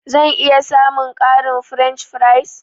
Zan iya samun ƙarin french fries?